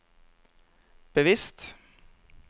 bevisst